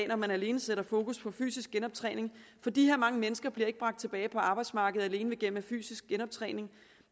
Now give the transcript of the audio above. når man alene sætter fokus på fysisk genoptræning for de her mange mennesker bliver ikke bragt tilbage på arbejdsmarkedet alene gennem fysisk genoptræning